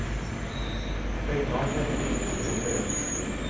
Begge har nemlig i prinsippet rett.